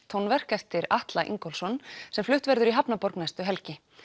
tónverk eftir Atla Ingólfsson sem flutt verður í hafnarborg næstu helgi